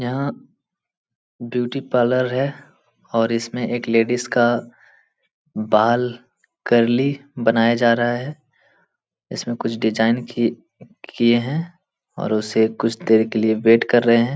यहाँ beauty parlour है और इसमें एक लेडीज का का बाल कर्ली बनाया जा रहा है। इसमें कुछ डिज़ाइन की किए हैं और उसे कुछ देर के लिए वेट कर रहे है।